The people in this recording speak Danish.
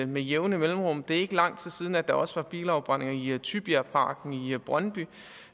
med jævne mellemrum det er ikke lang tid siden at der også var bilafbrændinger i tybjergparken i brøndby